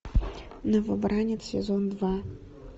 новобранец сезон два